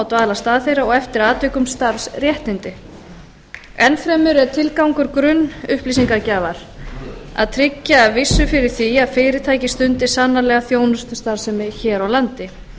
dvalarstað þeirra og eftir atvikum starfsréttindi enn fremur er tilgangur grunnupplýsingagjafar að tryggja vissu fyrir því að fyrirtæki stundi sannanlega þjónustustarfsemi hér á landi